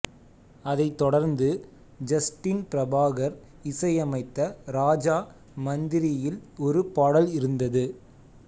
அதைத் தொடர்ந்து ஜஸ்டின் பிரபாகர் இசையமைத்த ராஜா மந்திரியில் ஒரு பாடல் இருந்தது